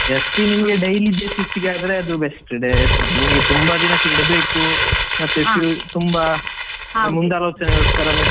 SB ನಿಮ್ಗೆ daily basis ಗೆ ಆದ್ರೆ ನಿಮಗೆ ನಿಮ್ಗೆ best ಇದೆ ನಿಮಗೆ ತುಂಬಾ ದಿನಕ್ಕೆ ಇಡಬೇಕು ತುಂಬಾ ಮುಂದಾಲೋಚನೆ ಹೋಗ್ತಾರಂದ್ರೆ.